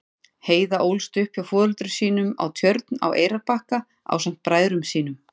Heiða ólst upp hjá foreldrum sínum á Tjörn á Eyrarbakka ásamt bræðrum sínum.